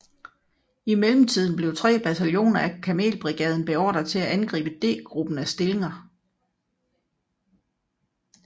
I mellemtiden blev tre bataljoner af kamelbrigaden beordret til at angribe D gruppen af stillinger